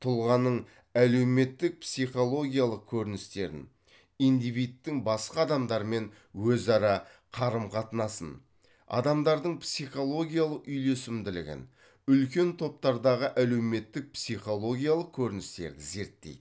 тұлғаның әлеуметтік психологиялық көріністерін индивидтің басқа адаммен өзара қарым қатынасын адамдардың психологиялық үйлесімдігін үлкен топтардағы әлеуметтік психологиялық көріністерді зерттейді